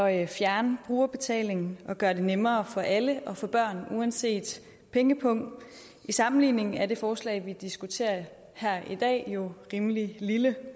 at fjerne brugerbetalingen og gøre det nemmere for alle at få børn uanset pengepung til sammenligning er det forslag vi diskuterer her i dag jo rimelig lille